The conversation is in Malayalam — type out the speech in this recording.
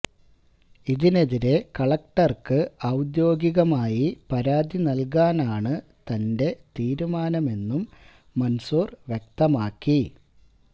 ഇതിനെതിരെ കളക്ടര്ക്ക് ഔദ്യോഗികമായി പരാതി നല്കാനാണ് തന്റെ തീരുമാനമെന്നും മന്സൂര് വ്യക്തമാക്കി